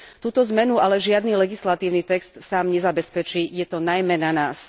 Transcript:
Túto zmenu ale žiadny legislatívny text sám nezabezpečí, je to najmä na nás.